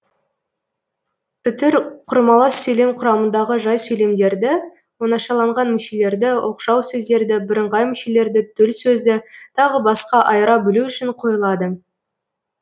үтір құрмалас сөйлем құрамындағы жай сөйлемдерді оңашаланған мүшелерді оқшау сөздерді бірыңғай мүшелерді төл сөзді тағы басқа айыра білу үшін қойылады